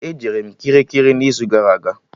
E jere m Kirikiri n'izu gara aga